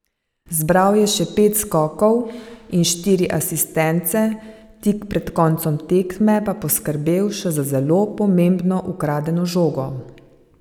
Zbral je še pet skokov in štiri asistence, tik pred koncem tekme pa poskrbel še za zelo pomembno ukradeno žogo.